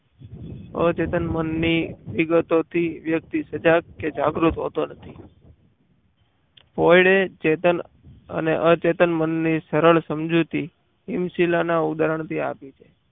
આ ચેતન મનની વિગતોથી વ્યક્તિ સજાગ કે જાગૃત હોતું નથી. પોયડે ચેતન અને અચેતન મનની સરળ સમજૂતી હિમશીલાના ઉદાહરણથી આપી છે.